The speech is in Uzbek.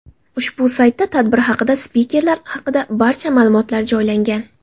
Ushbu saytda tadbir haqida, spikerlar haqida barcha ma’lumotlar joylangan.